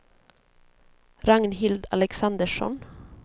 Ragnhild Alexandersson